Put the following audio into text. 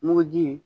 Muguji